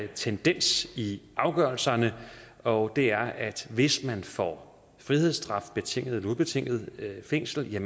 tendens i afgørelserne og det er at hvis man får frihedsstraf betinget eller ubetinget fængsel